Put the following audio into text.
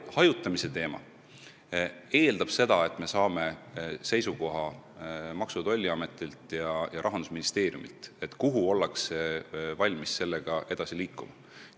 Hajutamine eeldab seda, et me saame Maksu- ja Tolliametilt ja Rahandusministeeriumilt seisukoha, kuhu ollakse valmis sellega edasi liikuma.